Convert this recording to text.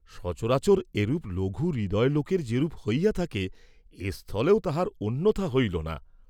সচরাচর এরূপ লঘু হৃদয় লােকের যেরূপ হইয়া থাকে এস্থলেও তাহার অন্যথা হইল না।